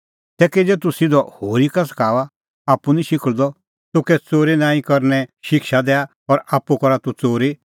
तै किज़ै तूह सिधअ होरी का सखाऊआ आप्पू निं शिखल़दअ तूह कै च़ोरी नांईं करने शिक्षा दैआ और आप्पू करा तूह च़ोरी